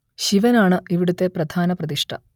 ശിവൻ ആണ് ഇവിടത്തെ പ്രധാന പ്രതിഷ്ഠ